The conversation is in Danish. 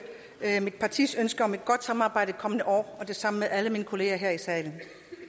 mit partis ønske om et godt samarbejde kommende år og det samme gælder alle mine kolleger her i salen